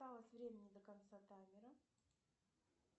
осталось времени до конца таймера